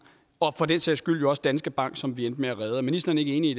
og for den sags skyld også danske bank som vi endte med at redde er ministeren ikke enig